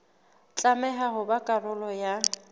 tlameha ho ba karolo ya